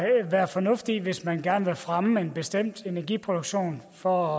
være fornuft i hvis man gerne vil fremme en bestemt energiproduktion for